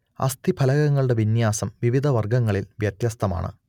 അസ്ഥിഫലകങ്ങളുടെ വിന്യാസം വിവിധ വർഗങ്ങളിൽ വ്യത്യസ്തമാണ്